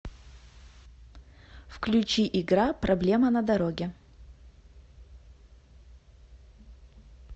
включи игра проблема на дороге